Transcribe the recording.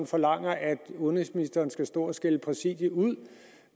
forlanger at udenrigsministeren skal stå og skælde præsidiet ud